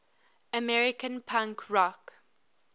american punk rock